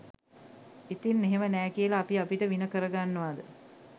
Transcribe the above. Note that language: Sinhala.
ඉතින් එහෙම නෑ කියලා අපි අපිට වින කරගන්නවද?